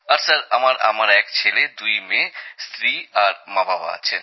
আর sir আমার এক ছেলে দুই মেয়ে স্ত্রী আর মাবাবা আছেন